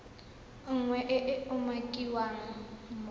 nngwe e e umakiwang mo